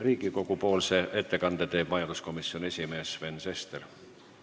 Riigikogu majanduskomisjoni ettekande teeb komisjoni esimees Sven Sester.